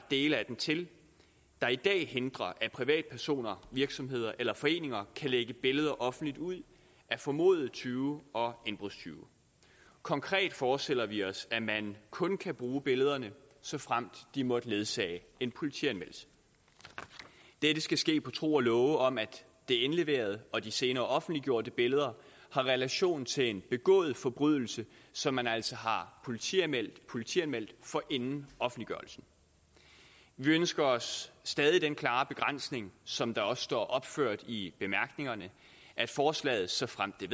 dele af den til der i dag hindrer at privatpersoner virksomheder eller foreninger kan lægge billeder offentligt ud af formodede tyve og indbrudstyve konkret forestiller vi os at man kun kan bruge billederne såfremt de måtte ledsage en politianmeldelse dette skal ske på tro og love om at det indleverede og de senere offentliggjorte billeder har relation til en begået forbrydelse som man altså har politianmeldt politianmeldt inden offentliggørelsen vi ønsker os stadig den klare begrænsning som der også står opført i bemærkningerne at forslaget såfremt